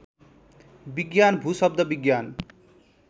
विज्ञान भूशब्द विज्ञान